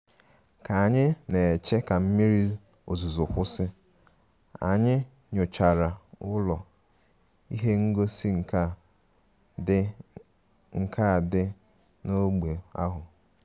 Ka anyị na-eche ka mmiri ozuzo kwụsị, anyị nyochara ụlọ ihe ngosi nka dị nka dị n'ógbè ahụ